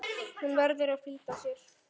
Hún verður að flýta sér.